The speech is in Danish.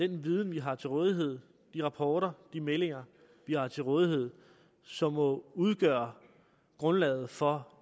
den viden vi har til rådighed de rapporter og de meldinger vi har til rådighed som må udgøre grundlaget for